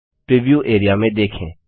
preview area में देखें